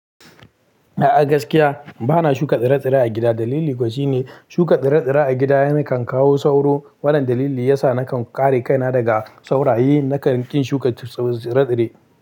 A'a gaskiya bana shuka tsire-tsire a gida. Dalili kuwa shine shuka tsire-tsire a gida yakan kawo sauro. Wannan dalili yasa nakan kare kaina daga sauraye nakan ƙin shuka tsire-tsire.